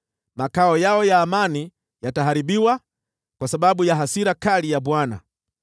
Makao yao ya amani yataharibiwa kwa sababu ya hasira kali ya Bwana .